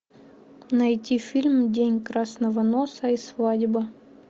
найти фильм день красного носа и свадьба